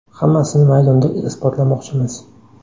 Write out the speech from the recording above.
Hammasini maydonda isbotlamoqchimiz.